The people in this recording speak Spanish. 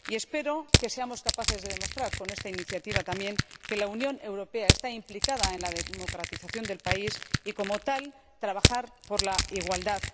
Espero que seamos capaces de demostrar también con esta iniciativa que la Unión Europea está implicada en la democratización del país y, como tal, trabajará por la igualdad.